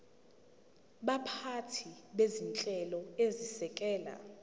baphathi bezinhlelo ezisekela